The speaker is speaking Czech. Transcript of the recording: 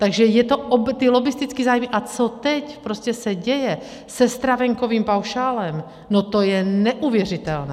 Takže je to, ty lobbistické zájmy a co teď prostě se děje se stravenkovým paušálem, no to je neuvěřitelné.